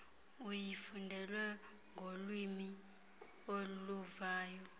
uyifundelwe ngolwiimi oluvayo